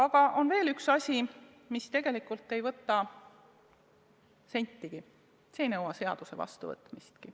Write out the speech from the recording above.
Ja on veel üks võimalus, mis tegelikult ei võta sentigi, see ei nõua isegi mitte seaduse vastuvõtmist.